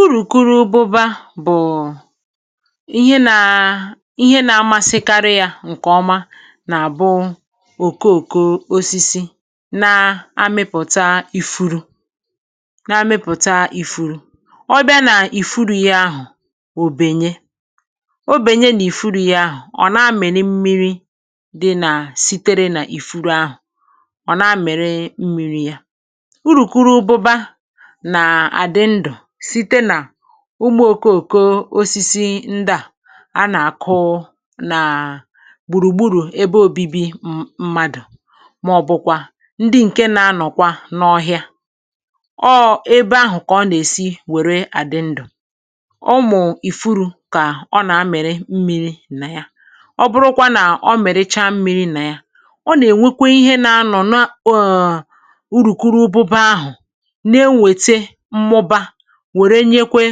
Urùkuru ụbụba bụ̀ ihe nà ihe nà-amasịkarị yà ǹkè ọma nà-àbụ òkòòkò osisi nà-amịpụ̀ta ifuru, nà-amịpụ̀ta ifuru. Ọbịa nà ì furu yà ahụ̀; òbènye. òbènye nà ì furu yà ahụ̀; ọ̀ nà-amị̀rị̀ mmiri̇ dị nà sitere nà ì furu ahụ̀; ọ̀ nà-amị̀rị̀ mmiri̇ yà. Urùkuru ụbụba nà-àdị ndù site nà ụmụ̀okė òko osisi ndị à na-àkụ nà gbùrùgburù ebe ȯbi̇bi̇ mmadụ̀, màọ̀bụ̀kwa ndị ǹke na-anọ̀kwa n’ọhịa. Ọ ėbė ahụ̀ kà ọ nà-èsi wère àdị ndù. Ụmụ̀ ìfuru kà ọ nà-amịrị mmi̇ri̇ nà ya. Ọ bụrụkwa nà ọ mèricha mmi̇ri̇ nà ya, ọ nà-ènwekwe ihe na-anọ̀ n’ọ̀ọ̀ um n' urùkuru ụbụba ahụ̀ na eweta mmụba, wèrè nyekwe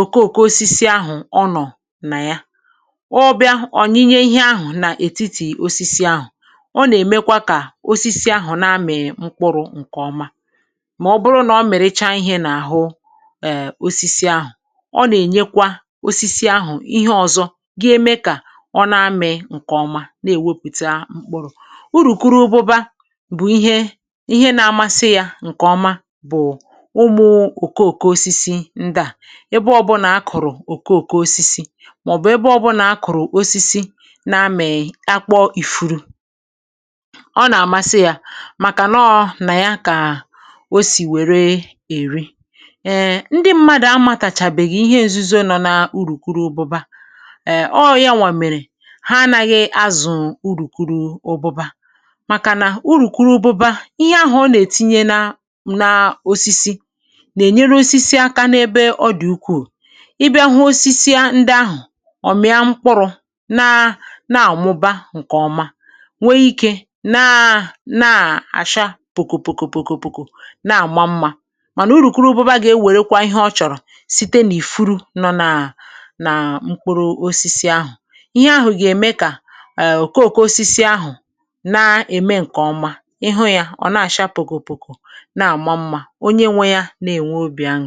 òkoòko osisi ahụ̀ ọ nọ̀ nà ya. Obịa ọ̀ nyinye ihe ahụ̀ nà ètiti osisi ahụ̀; ọ nà-èmekwa kà osisi ahụ̀ na-amị̀ mkpụrụ̇ ǹkèọma. Màọbụrụ nà ọ mèricha ihe n’àhụ e, osisi ahụ̀ọ, nà-ènyekwa osisi ahụ̀ ihe ọ̀zọ, gị eme kà ọ na-amị̀ ǹkèọma na-èwepùta mkpụrụ̇. Urùkuru ụbụba bụ̀ ihe ihe nà-amasị yà ǹkèọma bụ ụmụ òkòòkò osisi ndị a. Ebe ọ̀bụlà a kụ̀rụ̀ òke òke osisi, màọ̀bụ̀ ebe ọ̀bụlà a kụ̀rụ̀ osisi na amèghì akpọ̇ ifuru, ọ nà-àmasị yà. Màkà nọọ̇ nà ya kà o sì wère èri. Ee, ndị mmadụ̀ amatàchàbèghì ihe èzuzo nọ na urùkuru ụbụba. Èe, ọọ̀, yanwàmèrè ha anaghị azụ̀ urùkuru ụbụba, màkà nà urùkuru ụbụba, ihe ahụ̀ ọ nà-ètinye na na osisi nà-ènyere osisi aka n’ebe ọdị̀ ukwuù. Ị bị ahụ̇ osisi ndị ahụ̀, ọ̀ mị ya mkpụrụ̇ nà nà àmụba ǹkè ọma, nwee ike nà nà àcha pòkòpòkòpòkòpòkò, nà-àma mmȧ. Mànà urùkuru ụbọba gà-ewèrekwa ihe ọ chọ̀rọ̀ site n’ìfuru nọ nà nà mkpụrụ osisi ahụ̀. Ihe ahụ̀ gà-ème kà um òkoòkò osisi ahụ̀ na-ème ǹkè ọma. Ihụ yà, ọ̀ na-àcha pòkòpòkò, nà-àma mmȧ; ihe dị̇ n’enwe obì aṅụ̀rị.